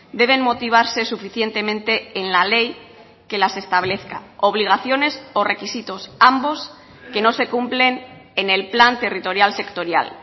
deben motivarse suficientemente en la ley que las establezca obligaciones o requisitos ambos que no se cumplen en el plan territorial sectorial